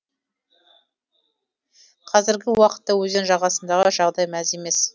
қазіргі уақытта өзен жағасындағы жағдай мәз емес